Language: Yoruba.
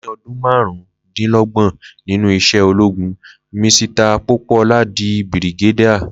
Lẹyìn ọdún máàrún dín lógbòn nínú isé ológun, Misita Pópóọlá di bìrìgédà